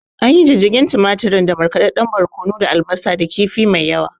Anyi Jijjigen tumaturin da markaɗadɗen barkono da albasa da kifi mai yawa